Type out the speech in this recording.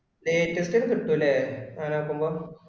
date കൃത്യമായിട്ട് എത്തും ഇല്ലേ, അങ്ങിനെ നോക്കുമ്പോ